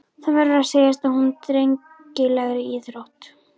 Það verður að segjast að hún er drengilegri íþrótt.